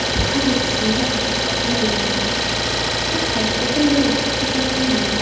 Haydovchida avtomobilni boshqarish huquqini beruvchi hujjatlar bo‘lmagan.